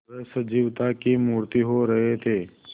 वे सजीवता की मूर्ति हो रहे थे